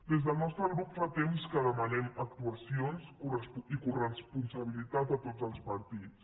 des del nostre grup fa temps que demanem actuacions i coresponsabilitat a tots els partits